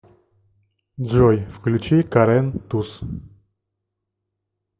джой включи карэн туз